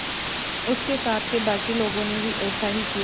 उसके साथ के बाकी लोगों ने भी ऐसा ही किया